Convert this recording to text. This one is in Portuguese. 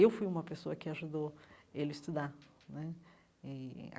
Eu fui uma pessoa que ajudou ele estudar né eh.